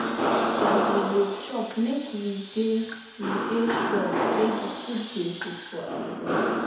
as we dey chop make we dey we dey sure sey di food dey good for our body